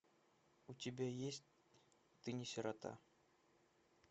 у тебя есть ты не сирота